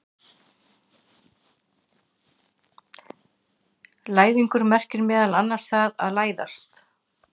Læðingur merkir meðal annars það að læðast.